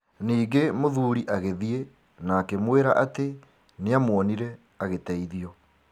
Ningĩ mũthuri agĩthiĩ na akĩmwĩra atĩ nĩamuonire agĩteithio.